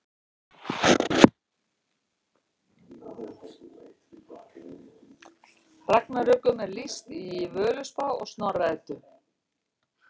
Ragnarökum er lýst í Völuspá og Snorra Eddu.